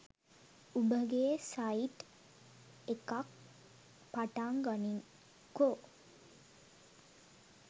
උඹගේ site එකක් පටන් ගනින්කෝ.